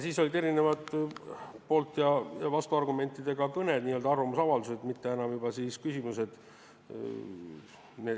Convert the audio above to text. Siis olid poolt- ja vastuargumentidega kõned, n-ö arvamusavaldused, mitte enam küsimused.